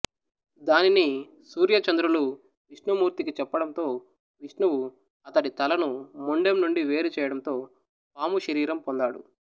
దానిని సూర్య చంద్రులు విష్ణుమూర్తికి చెప్పడంతో విష్ణువు అతడి తలను మొండెం నుండి వేరు చేయడంతో పాము శరీరం పొందాడు